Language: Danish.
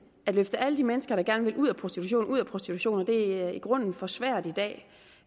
at løfte alle de mennesker der gerne vil ud af prostitution ud af prostitution det er i grunden for svært i dag